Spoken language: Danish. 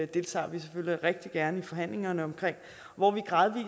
deltager vi selvfølgelig rigtig gerne i forhandlingerne om hvor vi